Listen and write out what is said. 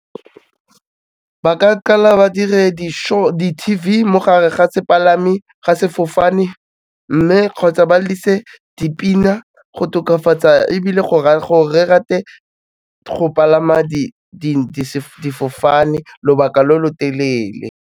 Ba ka kala ba dire di-show, di-T_V mo gare ga sefofane mme kgotsa ba lelise dipina go tokafatsa ebile gore re rate go palama difofane lobaka lo lo telele.